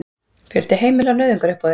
Fjöldi heimila á nauðungaruppboði